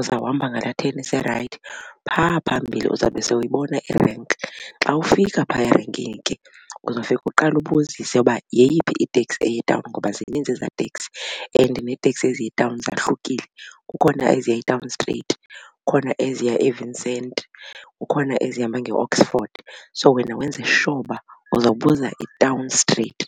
Uzawuhamba ngala then ise-right. Phaa phambili uzawube sowuyibona irenki. Xa ufika phaya erenkini ke uzofika uqale ubuzise uba yeyiphi iteksi eya etawuni ngoba zininzi eza teksi and neeteksi eziya etawuni zahlukile. Kukhona eziya etawuni straight, kukhona eziya eVincent, kukhona ezihamba ngeOxford, so wena wenze sure uzawubuza itawuni straight.